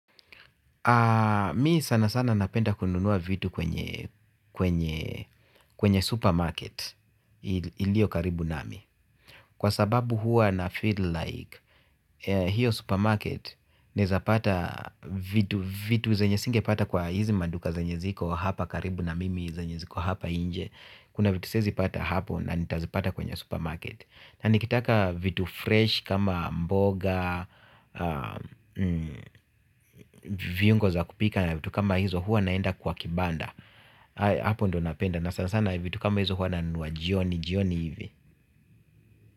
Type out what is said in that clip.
Mi sana sana napenda kununua vitu kwenye supermarket iliyo karibu nami. Kwa sababu hua na feel like hiyo supermarket naezapata vitu zenye singepata kwa hizi maduka zenye ziko hapa karibu na mimi zenye ziko hapa nje. Kuna vitu siezipata hapo na nitazipata kwenye supermarket. Na nikitaka vitu fresh kama mboga, viungo za kupika na vitu kama hizo hua naenda kwa kibanda. Apo ndo napenda na sana sana vitu kama hizo hua nanunua jioni jioni hivi.